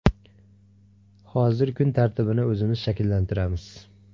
Hozir kun tartibini o‘zimiz shakllantiramiz.